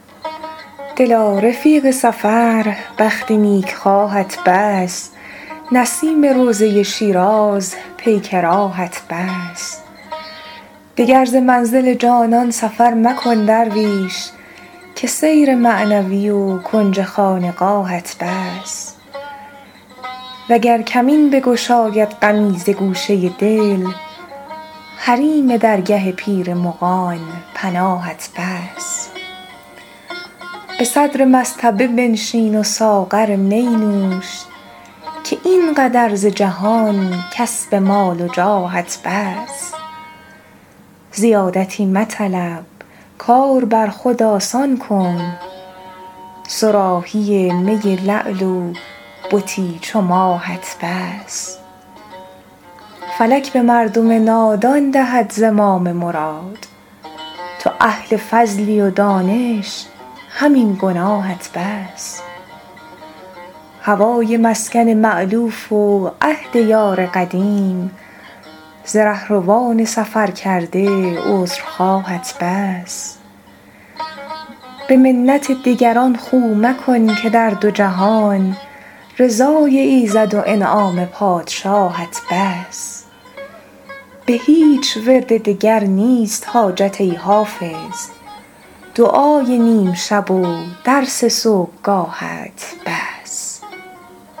دلا رفیق سفر بخت نیکخواهت بس نسیم روضه شیراز پیک راهت بس دگر ز منزل جانان سفر مکن درویش که سیر معنوی و کنج خانقاهت بس وگر کمین بگشاید غمی ز گوشه دل حریم درگه پیر مغان پناهت بس به صدر مصطبه بنشین و ساغر می نوش که این قدر ز جهان کسب مال و جاهت بس زیادتی مطلب کار بر خود آسان کن صراحی می لعل و بتی چو ماهت بس فلک به مردم نادان دهد زمام مراد تو اهل فضلی و دانش همین گناهت بس هوای مسکن مألوف و عهد یار قدیم ز رهروان سفرکرده عذرخواهت بس به منت دگران خو مکن که در دو جهان رضای ایزد و انعام پادشاهت بس به هیچ ورد دگر نیست حاجت ای حافظ دعای نیم شب و درس صبحگاهت بس